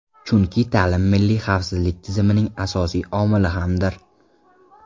Chunki ta’lim milliy xavfsizlik tizimining asosiy omili hamdir.